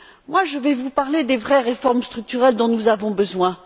Moi, je vais vous parler des vraies réformes structurelles dont nous avons besoin.